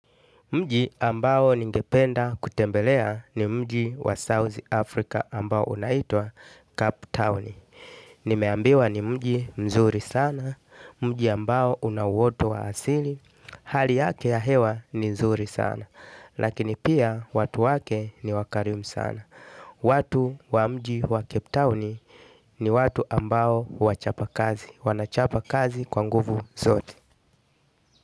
Mji ambao ningependa kutembelea ni mji wa South Africa ambao unaitwa Cup Town. Nimeambiwa ni mji mzuri sana, mji ambao unawoto wa asili. Hali yake ya hewa ni nzuri sana. Lakini pia watu wake ni wakarimu sana. Watu wa mji wa Cape Town ni watu ambao wachapa kazi. Wanachapa kazi kwa nguvu zote.